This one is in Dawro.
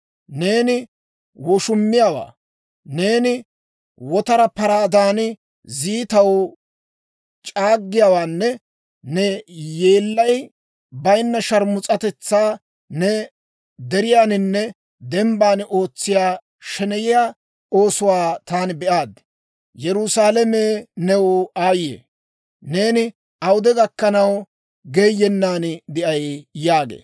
Neeni woshumiyaawaa, neeni wotara paraadan, ziitaw c'aaggiyaawaanne ne yeellay bayinna sharmus'atetsaa, neeni deriyaaninne dembban ootsiyaa sheneyiyaa oosuwaa taani be'aad. Yerusaalame, new aayye! Neeni awude gakkanaw geeyyennan de'ay?» yaagee.